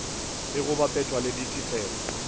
ge go bapetšwa le ditetelo